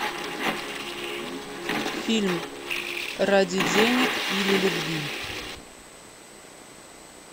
фильм ради денег или любви